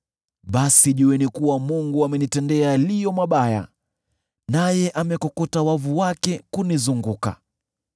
basi jueni kuwa Mungu amenitendea yaliyo mabaya, naye amekokota wavu wake kunizunguka.